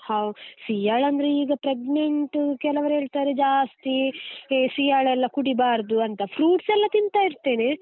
How ಸೀಯಾಳ ಅಂದ್ರೆ ಈಗ pregnant ಕೆಲವರು ಹೇಳ್ತಾರೆ ಜಾಸ್ತಿ ಸೀಯಾಳ ಎಲ್ಲಾ ಕುಡೀಬಾರ್ದು ಅಂತ, fruits ಎಲ್ಲ ತಿಂತಾ ಇರ್ತೇನೆ.